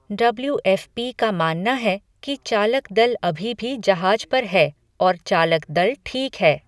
W F P का मानना है कि चालक दल अभी भी जहाज पर है और चालक दल ठीक है।